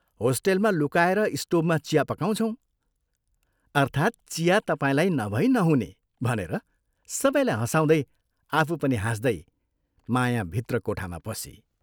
होस्टेलमा लुकाएर स्टोभमा चिया पकाउँछौँ।" अर्थात् चिया तपाईंलाई नभई नहुने " भनेर सबैलाई हँसाउदै, आफू पनि हाँस्दै माया भित्र कोठामा पसी।